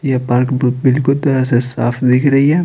ये पार्क ब्ल बिल्कुल तरह से साफ दिख रही है।